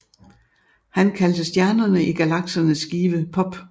Han kaldte stjernerne i galaksernes skive Pop